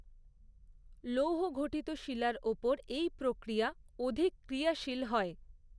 লৌহঘটিত শিলার ওপর এই প্রক্রিয়া অধিক ক্রিয়াশীল হয়।